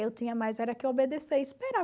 Eu tinha mais era que obedecer e esperar.